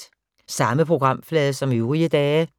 Samme programflade som øvrige dage